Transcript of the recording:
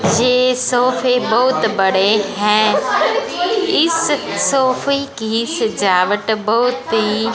ये सोफे बहुत बड़े हैं इस सोफे की सजावट बहोत ही--